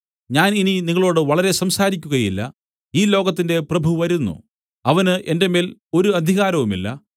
ഞാൻ ഇനി നിങ്ങളോടു വളരെ സംസാരിക്കുകയില്ല ഈ ലോകത്തിന്റെ പ്രഭു വരുന്നു അവന് എന്റെ മേൽ ഒരു അധികാരവുമില്ല